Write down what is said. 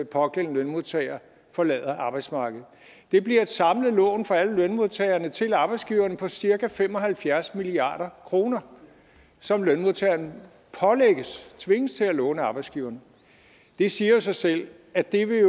pågældende lønmodtager forlader arbejdsmarkedet det bliver et samlet lån for alle lønmodtagerne til arbejdsgiverne på cirka fem og halvfjerds milliard kr som lønmodtagerne tvinges til at låne arbejdsgiverne det siger jo sig selv at det vil